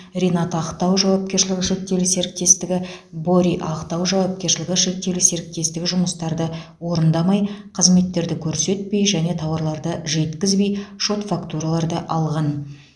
ринат актау жауапкершілігі шектеулі серіктестігі бори актау жауапкершілігі шектеулі серіктестігі жұмыстарды орындамай қызметтерді көрсетпей және тауарларды жеткізбей шот фактураларды алған